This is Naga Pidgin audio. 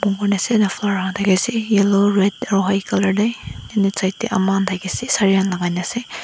mor ase flowers khan dali ase yellow aro red aro white colour de and side te ama khan thaki ase saree khan lagai kena ase.